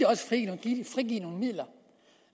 frigive nogle midler